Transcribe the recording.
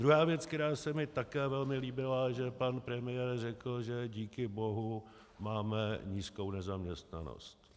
Druhá věc, která se mi také velmi líbila, že pan premiér řekl, že díky bohu máme nízkou nezaměstnanost.